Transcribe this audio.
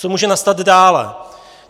Co může nastat dále?